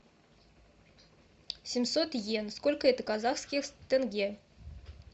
семьсот иен сколько это казахских тенге